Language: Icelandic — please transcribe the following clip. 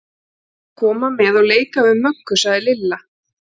Ég ætla að koma með og leika við Möggu, sagði Lilla.